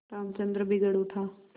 रामचंद्र बिगड़ उठा